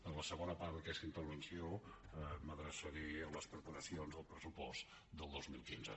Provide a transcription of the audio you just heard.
en la segona part d’aquesta intervenció m’adreçaré a les preparacions del pressupost del dos mil quinze